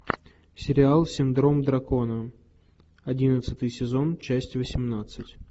сериал синдром дракона одиннадцатый сезон часть восемнадцать